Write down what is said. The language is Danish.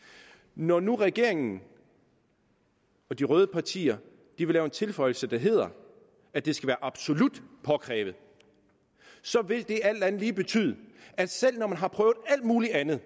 når nu regeringen og de røde partier vil lave en tilføjelse der hedder at det skal være absolut påkrævet vil det alt andet lige betyde at selv når man har prøvet alt muligt andet